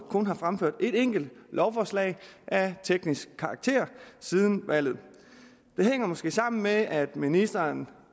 kun har fremsat et enkelt lovforslag af teknisk karakter siden valget det hænger måske sammen med at ministeren